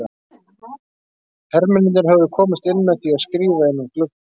Hermennirnir höfðu komist inn með því að skríða inn um glugga.